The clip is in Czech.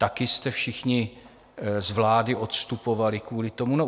Taky jste všichni z vlády odstupovali kvůli tomu?